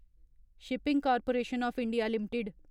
shipping corporation of India limited